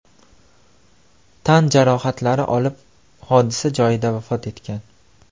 tan jarohatlari olib hodisa joyida vafot etgan.